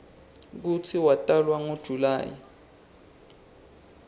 kutsi watalwa ngo july